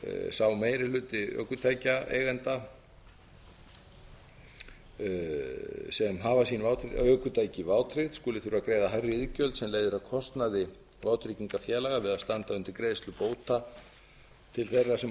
sá meiri hluti ökutækjaeigenda sem hafa sín ökutæki vátryggð skuli þurfa að greiða hærri iðgjöld sem leiðir af kostnaði vátryggingafélaga við að standa undir greiðslu bóta til þeirra sem orðið hafa